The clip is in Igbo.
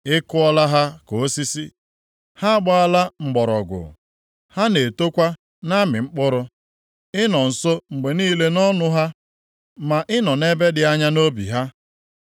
Ị kụọla ha ka osisi, ha agbaala mgbọrọgwụ; ha na-etokwa na-amị mkpụrụ. Ị nọ nso mgbe niile nʼọnụ ha, ma ị nọ nʼebe dị anya nʼobi ha.